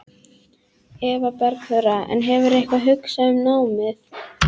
Eva Bergþóra: En hefurðu eitthvað hugsað um námið?